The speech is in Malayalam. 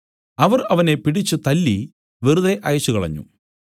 അവർ അവനെ പിടിച്ച് തല്ലി വെറുതെ അയച്ചുകളഞ്ഞു